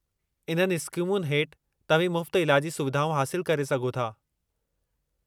इन्हनि स्कीमुनि हेठि तव्हीं मुफ़्त इलाजी सुविधाऊं हासिलु करे सघो था।